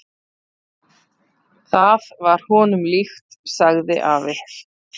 """Það var honum líkt, sagði afi."""